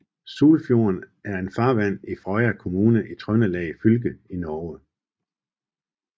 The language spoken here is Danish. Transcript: Sulfjorden er en farvand i Frøya kommune i Trøndelag fylke i Norge